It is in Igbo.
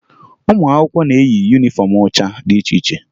Ụmụ akwụkwọ na-eyi yunifọmụ ụcha dị iche iche